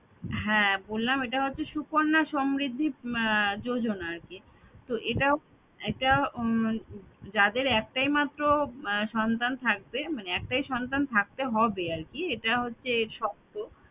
হ্যাঁ বললাম এটা হচ্ছে সুকন্যা সমৃদ্ধি যোজনা আরকি তো এটা একটা উম যাদের একটাই মাত্র সন্তান থাকবে মানে একটাই সন্তান থাকতে হবে আরকি এটাই হচ্ছে এর শর্ত